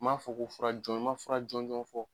N m'a fɔ ko fara jɔnjɔn, n ma fura jɔnjɔn fɔ